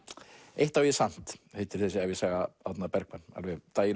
eitt á ég samt heitir þessi ævisaga Árna Bergmann alveg